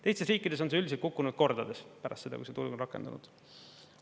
Teistes riikides on see üldiselt kukkunud kordades pärast seda, kui see turg on rakendanud.